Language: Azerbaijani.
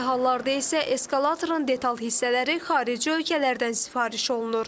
Bəzi hallarda isə eskalatorun detal hissələri xarici ölkələrdən sifariş olunur.